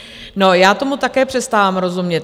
Já tomu také přestávám rozumět.